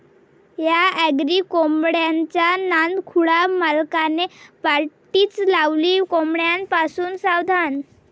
या' अँग्री कोंबड्याचा नादखुळा, मालकाने पाटीच लावली 'कोंबड्यापासून सावधान'!